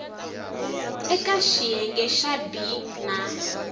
eka xiyenge xa b na